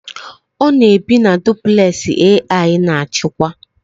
Ọ na-ebi na duplẹsị AI na-achịkwa